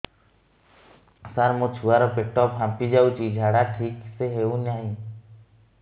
ସାର ମୋ ଛୁଆ ର ପେଟ ଫାମ୍ପି ଯାଉଛି ଝାଡା ଠିକ ସେ ହେଉନାହିଁ